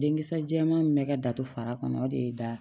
Denkisɛ jɛman min bɛ ka datu fara kɔnɔ o de ye da